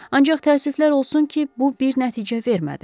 Ancaq təəssüflər olsun ki, bu bir nəticə vermədi.